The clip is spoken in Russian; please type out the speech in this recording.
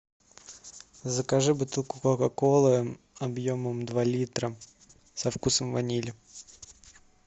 закажи бутылку кока колы объемом два литра со вкусом ванили